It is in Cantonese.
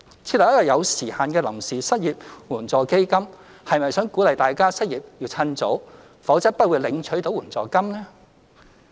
設立一個有時限的臨時失業援助基金，是否想鼓勵大家失業要趁早，否則不會領取到援助金？